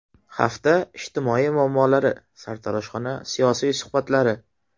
Hafta ijtimoiy muammolari: Sartaroshxona siyosiy suhbatlari.